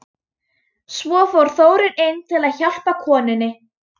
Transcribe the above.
Þar var ég stundum látin skoða klámblöð.